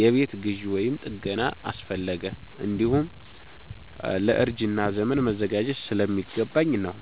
የቤት ግዢ ወይም ጥገና አስፈለገ፣ እንዲሁም ለእርጅና ዘመን መዘጋጀት ስለሚገባኝ ነው።